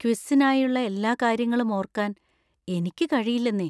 ക്വിസ്സിനായുള്ള എല്ലാ കാര്യങ്ങളും ഓർക്കാൻ എനിക്ക് കഴിയില്ലെന്നേ.